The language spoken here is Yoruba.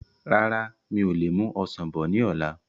Rárá, mi ò lè mú Ọsàn bọ̀ ni ọ̀la.